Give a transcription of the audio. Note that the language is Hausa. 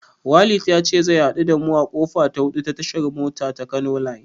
Walid ya ce zai haɗu da mu a kofa ta hudu ta tashar mota ta Kano line.